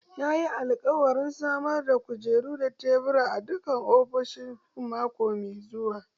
Yayi alƙawarin samar da kujeru da tebura a dukkan ofishoshin mako mai zuwa.